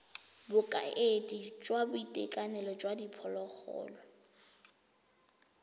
bokaedi jwa boitekanelo jwa diphologolo